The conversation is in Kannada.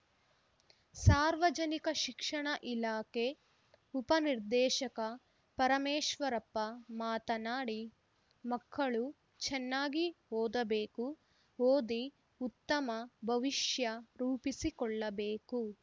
ಸಾರ್ವಜನಿಕ ಶಿಕ್ಷಣ ಇಲಾಖೆ ಉಪ ನಿರ್ದೇಶಕ ಪರಮೇಶ್ವರಪ್ಪ ಮಾತನಾಡಿ ಮಕ್ಕಳು ಚನ್ನಾಗಿ ಓದಬೇಕು ಓದಿ ಉತ್ತಮ ಭವಿಷ್ಯ ರೂಪಿಸಿಕೊಳ್ಳಬೇಕು